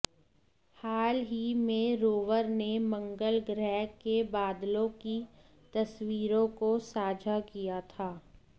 हाल ही में रोवर ने मंगल ग्रह के बादलों की तस्वीरों को साझा किया था